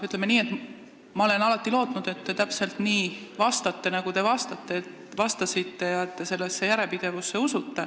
Ütleme nii, et ma olen alati lootnud, et te sellesse järjepidevusse usute, nagu te ka vastasite.